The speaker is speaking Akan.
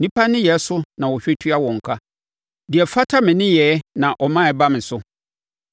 Nnipa nneyɛeɛ so na ɔhwɛ tua wɔn ka; deɛ ɛfata ne nneyɛeɛ na ɔma ɛba ne so.